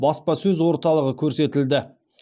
баспасөз орталығы көрсетілді